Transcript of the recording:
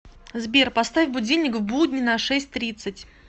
сбер поставь будильник в будни на шесть тридцать